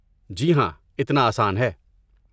جی ہاں، اتنا آسان ہے۔